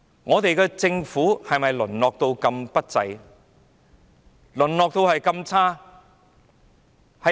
我們的政府是否淪落至這麼不濟、這麼差？